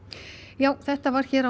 já þetta var á